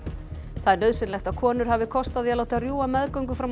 það er nauðsynlegt að konur hafi kost á því að láta rjúfa meðgöngu fram á